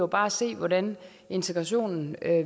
bare se hvordan integrationen